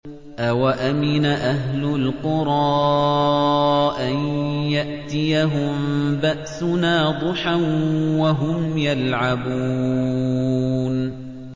أَوَأَمِنَ أَهْلُ الْقُرَىٰ أَن يَأْتِيَهُم بَأْسُنَا ضُحًى وَهُمْ يَلْعَبُونَ